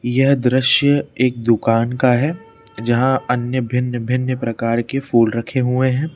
यह दृश्य एक दुकान का है जहां अन्य भिन्न भिन्न प्रकार के फूल रखे हुए हैं।